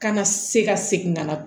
Kana se ka segin ka na